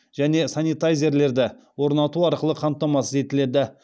және санитайзерлерді орнату арқылы қамтамасыз етіледі